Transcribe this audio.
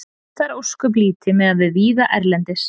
Það er ósköp lítið miðað við víða erlendis.